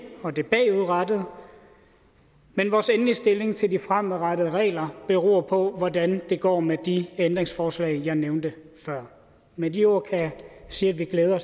og det bagudrettede men vores endelige stilling til de fremadrettede regler beror på hvordan det går med de ændringsforslag jeg nævnte før med de ord kan jeg sige